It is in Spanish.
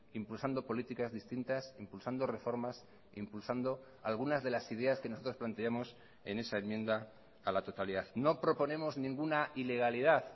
impulsando políticas distintas impulsando reformas impulsando algunas de las ideas que nosotros planteamos en esa enmienda a la totalidad no proponemos ninguna ilegalidad